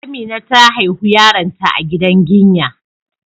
Amina ta haihu yaron ta a gidan ginya,